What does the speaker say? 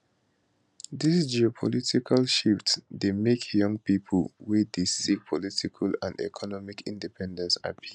dis geopolitical shift dey make young pipo wey dey seek political and economic independence happy